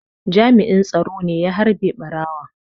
Jami'in tsaro ne ya harbe ɓarawon.